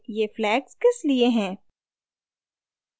ये flags किसलिए हैं